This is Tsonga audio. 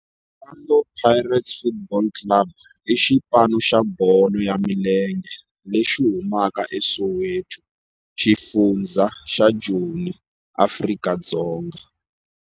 Orlando Pirates Football Club i xipano xa bolo ya milenge lexi humaka eSoweto, xifundzha xa Joni, Afrika-Dzonga.